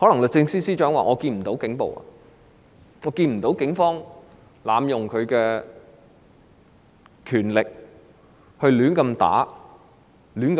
律政司司長可能會說她看不到警暴，看不到警方濫用權力，亂打人或亂拘捕人。